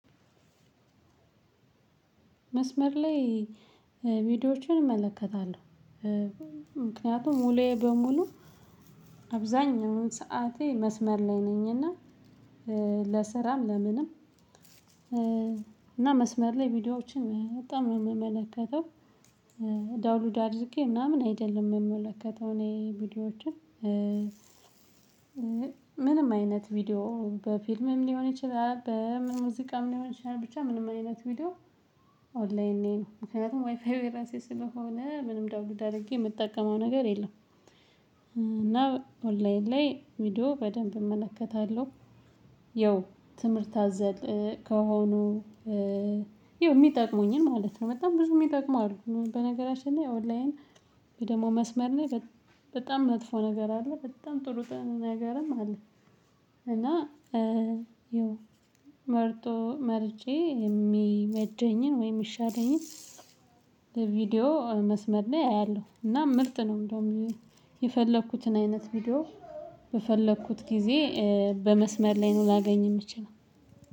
መስመር ላይ ቪዲዮዎችን እመለከታለሁ። ምክንያቱም ዉሉዬ በሙሉ አብዛኛውን ሰዓቴ መስመር ላይ ነኝ። እና ለስራም ለምንም እና መስመር ላይ ቪዲዮዎችን በጣም ነው የምመለከተው። ዳውሎድ አድርጌ ምናምን አይደለም የምመለከተው እኔ ቪዲዮዎችን። ምንም አይነት ቪዲዮ በፊልምም ሊሆን ይችላል በምን ሙዚቃም ሊሆን ይችላል ብቻ ምንም አይነት ቪዲዮ። ኦንላይን ነኝ ምክንያቱም ዋይፋዩ የራሴ ስለሆነ ምንም ደውሎድ አድርጌ የምጠቀመው ነገር የለም። እና ኦንላይን ላይ ቪዲዮ በደንብ እመለከታለሁ። ያው ትምህርት አዘል ከሆኑ የሚጠቅሙኝን ማለት ነው በጣም ብዙ የሚጠቅሙ አሉ። በነገራችን ላይ ኦንላይን የደግሞ መስመር ነኝ። በጣም መጥፎ ነገር አለ በጣም ጥሩ ነገረም አለ። እና ይኸው መርጦ መርጬ የሚመጀኝን ወይም የሚሻለኝን ቪዲዮ መስመር ላይ አያለሁ። እና ምርጥ ነው። እንደውም የፈለኩትን አይነት ቪዲዮ በፈለኩት ጊዜ በመስመር ላይ ነው ላገኝ የምችለው።